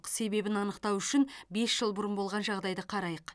себебін анықтау үшін бес жыл бұрын болған жағдайды қарайық